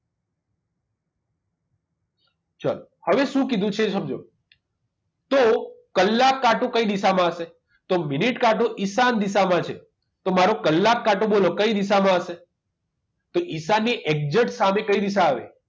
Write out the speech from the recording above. ચલો હવે શું કીધું છે સમજો તો કલાક કાંટો કઈ દિશામાં હશે તો મિનિટ કાંટો ઈશાન દિશામાં છે તો મારો કલાક કાંટો બોલો કઈ દિશામાં હશે તો દિશાનની exact સામે કઈ દિશા આવે